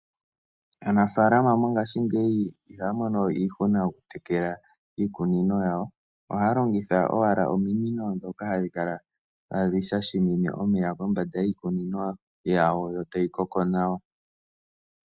Aanafalama mongashingeyi ihaya mono iishuna yokutekela iikunino yawo ohaya longitha owala ominine dhoka hadhi shashimine omeya kombanda yiikuninonyawo yo tayi koko nawa.